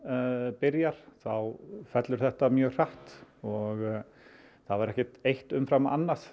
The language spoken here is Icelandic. byrjar þá fellur þetta mjög hratt og það var ekkert eitt umfram annað